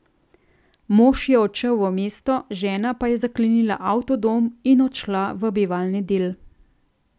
Mož je odšel v mesto, žena pa je zaklenila avtodom in odšla v bivalni del.